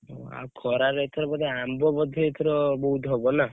ଆଉ ଖରା ରେ ଏଥର ବୋଧେ ଆମ୍ବ ବୋଧେ ଏଥର ବହୁତ ହବ ନା ?